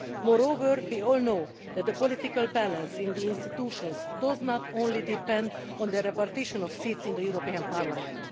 Moreover, we all know that the political balance in the institutions does not only depend on the repartition of seats in the European Parliament.